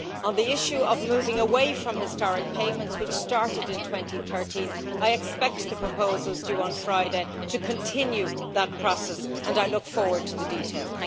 On the issue of moving away from historic payments, which started in 2013, I expect the proposals due on Friday to continue that process and I look forward to the details.